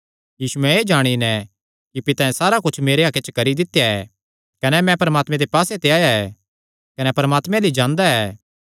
यीशुयैं एह़ जाणी नैं कि पितैं सारा कुच्छ मेरे हक्के च करी दित्या ऐ कने मैं परमात्मे पास्से ते आया ऐ कने परमात्मे अल्ल ई जांदा ऐ